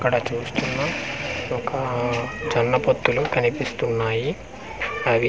ఇక్కడ చూస్తున్నాం ఒక జన్న పొత్తులు కనిపిస్తున్నాయి అవి.